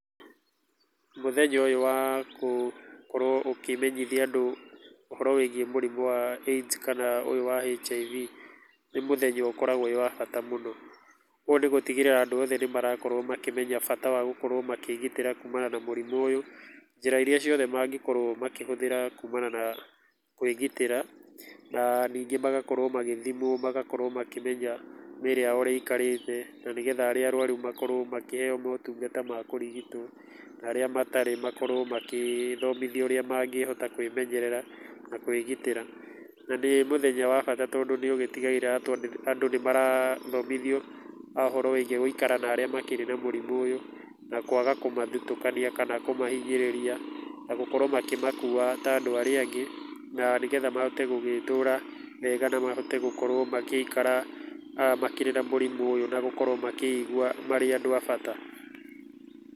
Mũthenya ũyũ wa gũkorwo ũkĩmenyithia andũ ũhoro wĩgie mũrimũ wa AIDS kana ũyũ wa HIV, nĩ mũthenya ũkoragwo wĩ wa bata mũno, ũguo nĩ gũtigĩrĩra andũ othe nĩmakorwo makĩmenya bata wa gũkorwo makĩgitĩra kumana na mũrimũ ũyũ, njĩra iria ciothe mangĩkirwo makĩhũthĩra kumana na kwĩgitĩra, na ningĩ magakorwo magĩthimwo magakorwo makĩmenya mĩĩrĩ yao ũrĩa ĩikarĩte, na nĩgetha arĩa arwaru makorwo makĩheo motungata ma kũrigitwo, na arĩa matarĩ makorwo magĩthomithio ũrĩa mangĩhota kwĩmenyerera na kwĩgitĩra, na nĩ mũthenya wa bata, tondũ nĩ ũgĩtigagĩrĩra andũ nĩ marathomithio ũhoro wĩgie gũikara na arĩa makĩrĩ na mũrimũ ũyũ, na kwaga kũmathutũkania kana kũmahinyĩrĩria na gũkorwo makĩmakua ta andũ arĩa angĩ, na nĩgetha mahote gũgĩtũũra wega na mahote gũkorwo magĩikara makĩria na mũrimũ ũyũ na gũkorwo makĩigua marĩ andũ a bata.